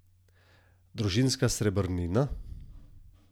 Družinska srebrnina?